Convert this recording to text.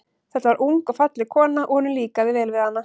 Þetta var ung og falleg kona, og honum líkaði vel við hana.